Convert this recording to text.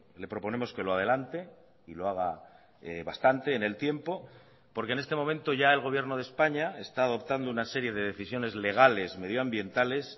le proponemos que lo adelante y lo haga bastante en el tiempo porque en este momento ya el gobierno de españa está adoptando una serie de decisiones legales medioambientales